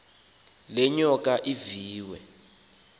le nyoka iviwe